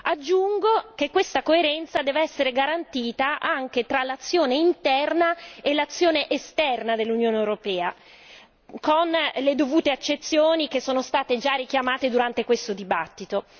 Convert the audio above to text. Aggiungo che questa coerenza deve essere garantita anche tra l'azione interna e l'azione esterna dell'Unione europea, con le dovute accezioni che sono state già richiamate durante questo dibattito.